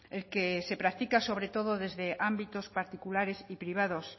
el que se practica sobre todo desde ámbitos particulares y privados